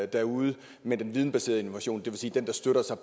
derude med den vidensbaserede innovation det vil sige den der støtter sig